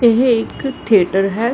ਇਹ ਇੱਕ ਥਿਏਟਰ ਹੈ।